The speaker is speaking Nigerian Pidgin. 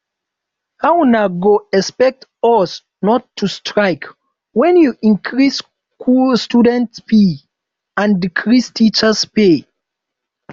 how una go expect us not to strike wen you increase student fees and decrease teachers pay